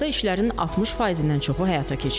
Hazırda işlərin 60%-dən çoxu həyata keçirilib.